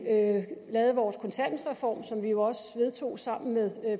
lavede vores kontanthjælpsreform som vi jo også vedtog sammen med